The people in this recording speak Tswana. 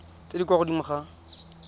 tse di kwa godimo ga